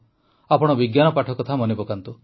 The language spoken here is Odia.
ଆପଣ ବିଜ୍ଞାନ ପାଠ କଥା ମନେପକାନ୍ତୁ